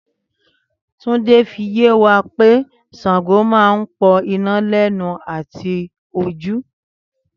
Túndé ń fi yé wa pé Ṣàngó máa ń pọ iná lẹ́nu àti ojú